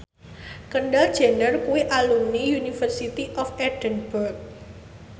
Kendall Jenner kuwi alumni University of Edinburgh